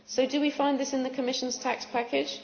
So do we find this in the Commission's tax package?